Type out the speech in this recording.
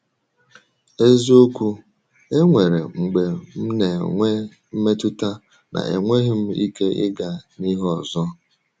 Eziokwu, e nwere mgbe m na-enwe mmetụta na enweghị m ike ịga n’ihu ọzọ.